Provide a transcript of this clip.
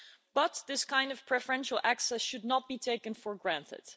But this kind of preferential access should not be taken for granted.